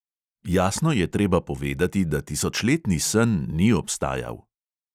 Jasno je treba povedati, da tisočletni sen ni obstajal.